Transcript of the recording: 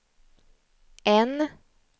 N